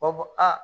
U b'a fɔ a